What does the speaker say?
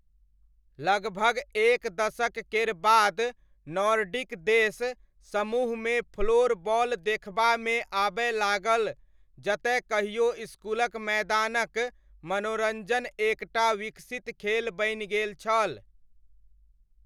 लगभग एक दशक केर बाद नॉर्डिक देश समूहमे फ्लोरबॉल देखबामे आबय लागल जतए कहियो इसकुलक मैदानक मनोरञ्जन एक टा विकसित खेल बनि गेल छल।